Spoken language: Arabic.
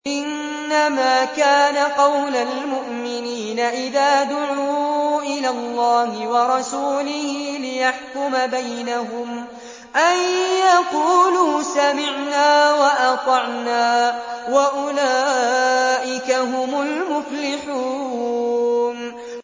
إِنَّمَا كَانَ قَوْلَ الْمُؤْمِنِينَ إِذَا دُعُوا إِلَى اللَّهِ وَرَسُولِهِ لِيَحْكُمَ بَيْنَهُمْ أَن يَقُولُوا سَمِعْنَا وَأَطَعْنَا ۚ وَأُولَٰئِكَ هُمُ الْمُفْلِحُونَ